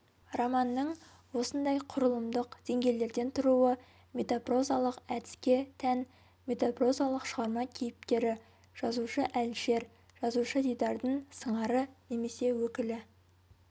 романның осындай құрылымдық деңгейлерден тұруы метапрозалық әдіске тән метапрозалық шығарма кейіпкері жазушы-әлішер жазушы-дидардың сыңары немесе өкілі